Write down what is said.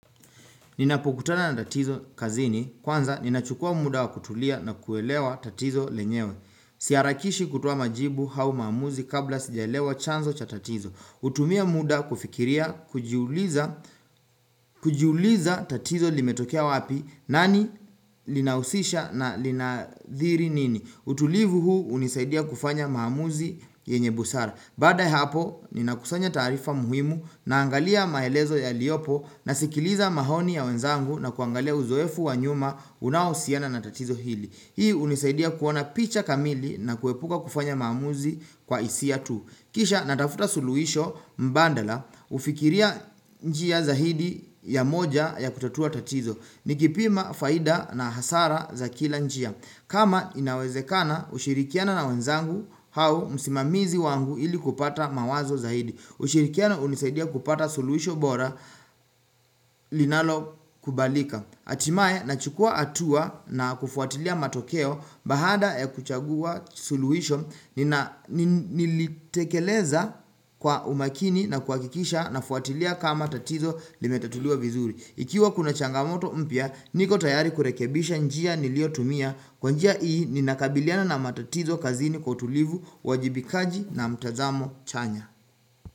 Ninapokutana na tatizo kazini, kwanza ninachukua muda wa kutulia na kuelewa tatizo lenyewe Si harakishi kutuwa majibu au maamuzi kabla sijaelewa chanzo cha tatizo hutumia muda kufikiria, kujiuliza kujiuliza tatizo limetokea wapi, nani, linausisha na linadhiri nini utulivu huu hunisaidia kufanya mahamuzi yenye busara Bada hapo ni nakusanya tarifa muhimu na angalia maelezo yaliopo na sikiliza maoni ya wenzangu na kuangalia uzoefu wa nyuma unaohusiana na tatizo hili Hii hunisaidia kuona picha kamili na kuepuka kufanya maamuzi kwa hisia tu Kisha natafuta suluhisho mbandala hufikiria njia zaidi ya moja ya kutatua tatizo Nikipima faida na hasara za kila njia kama inawezekana kushirikiana na wenzangu au musimamizi wangu ili kupata mawazo zaidi ushirikiano unisaidia kupata suluhisho bora linalo kubalika Hatimae na chukua hatua na kufuatilia matokeo bahada ya kuchagua suluhisho nilitekeleza kwa umakini na kuakikisha na fuatilia kama tatizo limetatuliwa vizuri ikiwa kuna changamoto mpya niko tayari kurekebisha njia niliotumia Kwanjia hii ninakabiliana na matatizo kazini kwautulivu wajibikaji na mtazamo chanya.